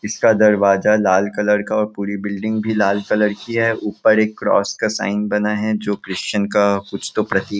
इसका दरवाजा लाल कलर का पुरी बिल्डिंग भी लाल कलर कि है ऊपर एक क्रॉस का साइन बना है जो की क्रिस्चियन का कुछ तो प्रतीक--